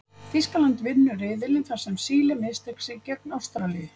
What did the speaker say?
Þýskaland vinnur riðilinn þar sem Síle missteig sig gegn Ástralíu.